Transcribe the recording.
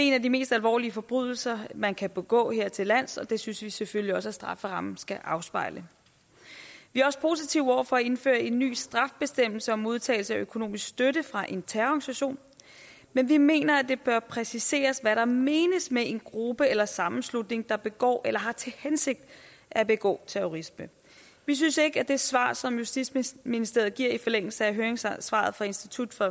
en af de mest alvorlige forbrydelser man kan begå her til lands og det synes vi selvfølgelig også at strafferammen skal afspejle vi er også positive over for at indføre en ny straffebestemmelse om modtagelse af økonomisk støtte fra en terrororganisation men vi mener at det bør præciseres hvad der menes med en gruppe eller en sammenslutning der begår eller har til hensigt at begå terrorisme vi synes ikke at det svar som justitsministeriet giver i forlængelse af høringssvaret fra institut for